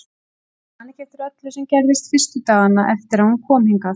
Man ekki eftir öllu sem gerðist fyrstu dagana eftir að hún kom hingað.